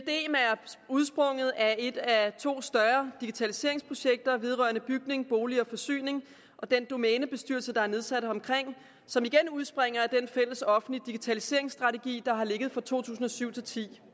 udsprunget af et af to større digitaliseringsprojekter vedrørende bygninger boliger og forsyning og den domænebestyrelse der er nedsat omkring det som igen udspringer af den fælles offentlige digitaliseringsstrategi der har ligget for to tusind og syv til ti